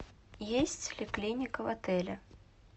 есть ли клиника в отеле